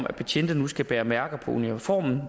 at betjente nu skal bære mærker på uniformen